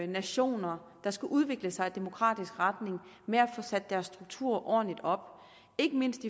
nationer der skal udvikle sig i demokratisk retning med at få sat deres strukturer ordentligt op ikke mindst